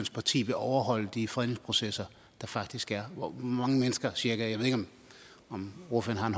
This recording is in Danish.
parti vil overholde de fredningsprocesser der faktisk er hvor mange mennesker cirka jeg ved ikke om ordføreren